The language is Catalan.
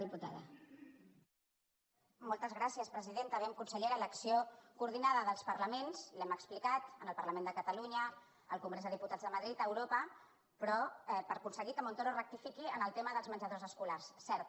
a veure consellera l’acció coordinada dels parlaments l’hem explicat en el parlament de catalunya al congrés dels diputats de madrid a europa però per aconseguir que montoro rectifiqui en el tema dels menjadors escolars cert